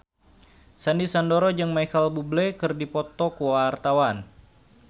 Sandy Sandoro jeung Micheal Bubble keur dipoto ku wartawan